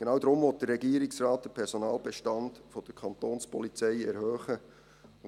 Genau deshalb will der Regierungsrat den Personalbestand der Kantonspolizei erhöhen.